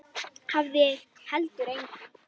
Hafði heldur enga.